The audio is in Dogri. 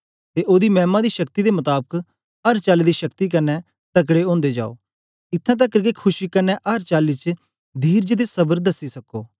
ते ओदी मैमा दी शक्ति दे मताबक अर चाली दी शक्ति कन्ने तकड़े ओदे जाओ इत्थैं तकर के खुशी कन्ने अर चाली च धीरज ते सबर दसी सको